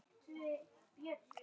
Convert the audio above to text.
Hann var sjálfum sér nógur.